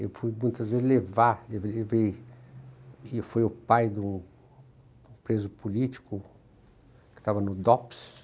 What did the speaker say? Eu fui muitas vezes levar, e foi o pai de um preso político que estava no Dops.